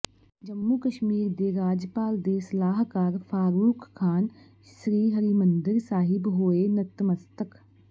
ਜੰਮੂ ਕਸ਼ਮੀਰ ਦੇ ਰਾਜਪਾਲ ਦੇ ਸਲਾਹਕਾਰ ਫਾਰੂਕ ਖਾਨ ਸ੍ਰੀ ਹਰਿਮੰਦਰ ਸਾਹਿਬ ਹੋਏ ਨਤਮਸਤਕ